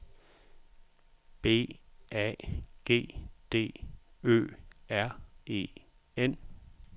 B A G D Ø R E N